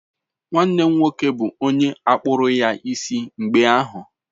Nwanne m nwoke bụ onye akpụru ya isi mgbe ahụ.